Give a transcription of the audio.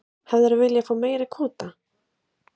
Lillý: Hefðirðu viljað fá meiri kvóta?